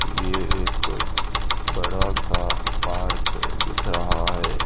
ये एक बड़ा सा पार्क दिख रहा है।